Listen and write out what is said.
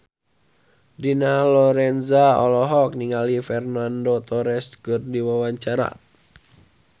Dina Lorenza olohok ningali Fernando Torres keur diwawancara